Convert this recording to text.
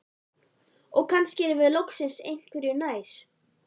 Og kannski erum við loksins einhverju nær.